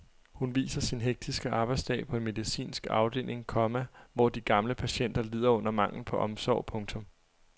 Hun viser sin hektiske arbejdsdag på en medicinsk afdeling, komma hvor de gamle patienter lider under manglen på omsorg. punktum